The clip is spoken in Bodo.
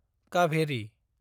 काभेरि